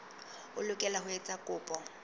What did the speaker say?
o lokela ho etsa kopo